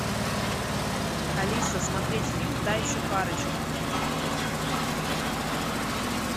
алиса смотреть фильм та еще парочка